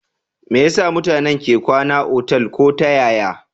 Me yasa mutane ke kwana otal ko ta yaya